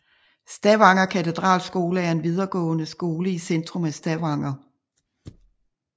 Stavanger katedralskole er en videregående skole i centrum af Stavanger